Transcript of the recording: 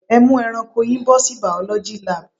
Ẹ mú ẹranko yín bọ̀ sí biology lab.